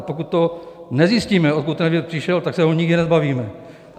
A pokud to nezjistíme, odkud ten vir přišel, tak se ho nikdy nezbavíme.